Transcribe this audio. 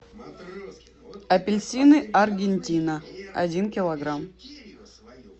апельсины аргентина один килограмм